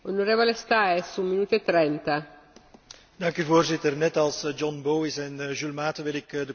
Voorzitter, net als John Bowis en Jules Maaten, wil ik de commissaris complimenteren met haar Groenboek.